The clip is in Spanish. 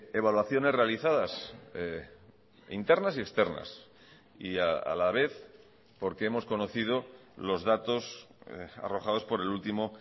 evaluaciones realizadas internas y externas y a la vez porque hemos conocido los datos arrojados por el último